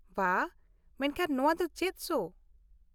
ᱵᱷᱟ ! ᱢᱮᱱᱠᱷᱟᱱ ᱱᱚᱶᱟ ᱫᱚ ᱪᱮᱫ ᱥᱳ ?